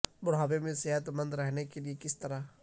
بڑھاپے میں صحت مند رہنے کے لئے کس طرح